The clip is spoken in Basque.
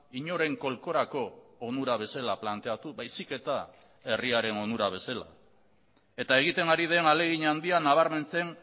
inoren kolkorako onura bezala planteatu baizik eta herriaren onura bezala eta egiten ari den ahalegin handia nabarmentzen